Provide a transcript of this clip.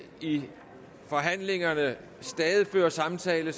i forhandlingerne stadig fører samtale